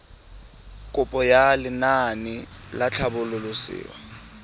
kopo ya lenaane la tlhabololosewa